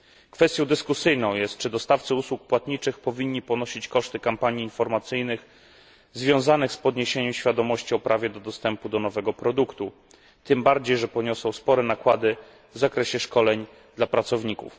Kwestią dyskusyjną jest, czy dostawcy usług płatniczych powinni ponosić koszty kampanii informacyjnych związanych z podniesieniem świadomości o prawie dostępu do nowego produktu, tym bardziej, że poniosą spore nakłady w zakresie szkoleń dla pracowników.